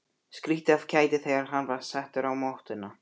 Skríkti af kæti þegar hann var settur á mottuna.